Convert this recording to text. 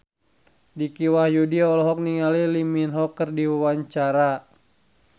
Dicky Wahyudi olohok ningali Lee Min Ho keur diwawancara